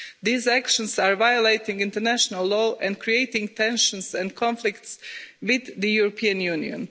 These actions are violating international law and creating tensions and conflicts with the European Union.